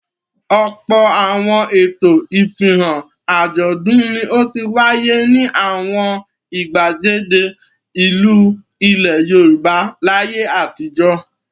Ọ̀pọ̀ àwọn ètò, ìfihàn, àjọ̀dún ni ó ti wáyé ní àwọn ìgbàgede ìlú ilẹ̀ Yorùbá láyé àtijọ́.